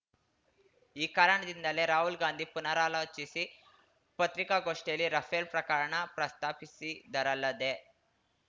ಈ ಕಾರಣದಿಂದಲೇ ರಾಹುಲ್ ಗಾಂಧಿ ಪುನರಾಲೋಚಿಸಿ ಪತ್ರಿಕಾಗೋಷ್ಠಿಯಲ್ಲಿ ರಫೇಲ್ ಪ್ರಕರಣ ಪ್ರಸ್ತಾಪಿಸಿದರಲ್ಲದೆ